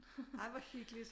Ej hvor hyggeligt